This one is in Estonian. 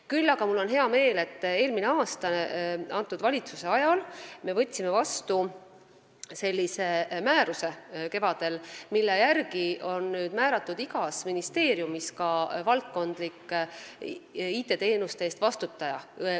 Küll aga on mul hea meel, et eelmise aasta kevadel võtsime ametisoleva valitsusega vastu sellise määruse, mille järgi nüüd on igas ministeeriumis määratud ka valdkondlik IT-teenuste eest vastutaja.